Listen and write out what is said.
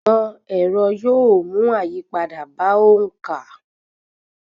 Ìmọ̀ ẹrọ yóò mú àyípadà bá òǹkà.